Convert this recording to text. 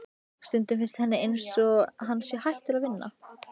Stundum finnst henni einsog hann sé hættur að vinna.